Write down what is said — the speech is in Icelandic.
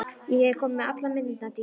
Ég er komin með allar myndirnar, Dídí.